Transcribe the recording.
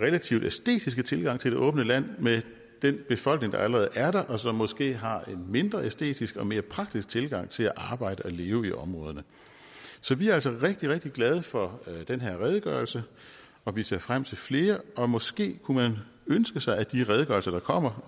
relativt æstetiske tilgang til det åbne land med den befolkning der allerede er der og som måske har en mindre æstetisk og mere praktisk tilgang til at arbejde og leve i områderne vi er altså rigtig rigtig glade for den her redegørelse og vi ser frem til flere og måske kunne man ønske sig at de redegørelser der kommer